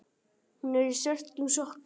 Hún er í svörtum sokkum.